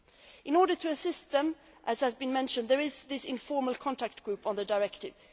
In order to assist them as has been mentioned there is an informal contact group on the Directive.